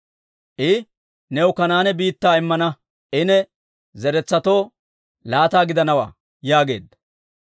I, «New Kanaane biittaa immana; I ne zeretsatoo laata gidanawaa» yaageedda.